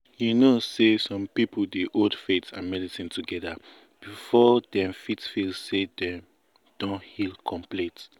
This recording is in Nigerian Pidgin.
you know say some people dey hold faith and medicine together before dem fit feel say dem don heal complete.